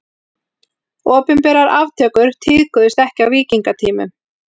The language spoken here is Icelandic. Opinberar aftökur tíðkuðust ekki á víkingatímanum.